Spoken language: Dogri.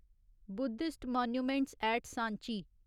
Buddhist monuments at Sanchi